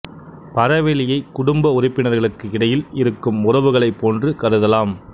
பரவெளியை குடும்ப உறுப்பினர்களுக்கு இடையில் இருக்கும் உறவுகளைப் போன்று கருதலாம்